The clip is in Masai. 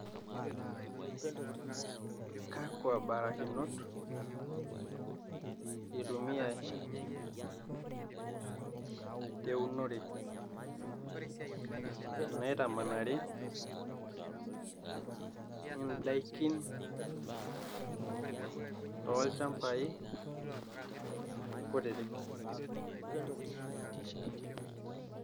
kakwa barakinot itumiyai teunore naitamanari indaikin toolchambai kutitik?